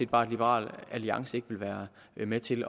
bare at liberal alliance ikke vil være med til